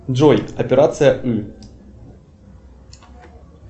джой операция ы